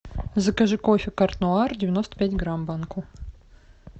закажи кофе карт нуар девяносто пять грамм банку